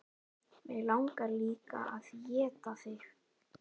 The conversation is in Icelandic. Mig langar líka að éta þig.